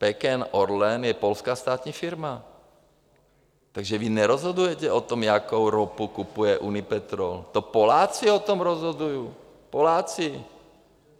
PKN ORLEN je polská státní firma, takže vy nerozhodujete o tom, jakou ropu kupuje Unipetrol, to Poláci o tom rozhodují, Poláci.